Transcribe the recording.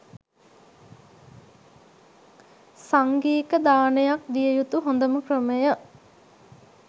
සංඝීක දානයක් දිය යුතු හොඳම ක්‍රමය